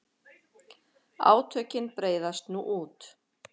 Átökin breiðast nú út.